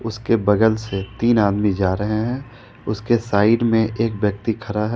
उसके बगल से तीन आदमी जा रहे हैं उसके साइड में एक व्यक्ति खड़ा है।